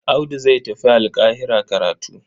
Audu zai tafi Alƙahira karatu.